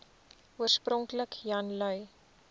oorspronklik jan lui